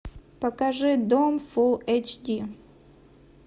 покажи дом фулл эйч ди